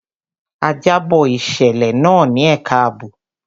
A jábọ̀ ìṣẹ̀lẹ̀ náà ní ẹka àbò.